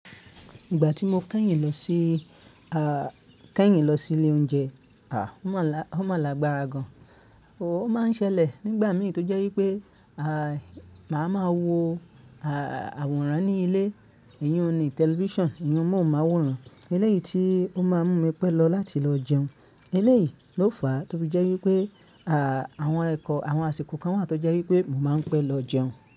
Ìgbà tí mo kẹ́yìn lọ sí, aà kẹ́yìn lọ sí ilé oúnjẹ, à ó mọ̀ la o mo lágbára gan. Ò máa ń ṣẹlẹ̀ nígbà mi tó jẹ́ wípé, màá máa wo àwòrán ní ilé, ìyiun ní television, ìyiun mọ̀wu máwòrán. Elẹ́yìí tí ó máa ń mú mi pẹ́ lọ láti lọ jẹun. Elẹ́yìí ló fàá tó fí jẹ́ wípé, àwọn ẹ̀kọ́ àwọn àsìkò kan wà tó jẹ́ wípé mo máa ń pẹ́ lọ jẹun.